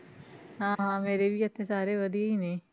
ਹਾਂ ਹਾਂ ਮੇਰੇ ਵੀ ਇੱਥੇ ਸਾਰੇ ਵਧੀਆ ਹੀ ਨੇ।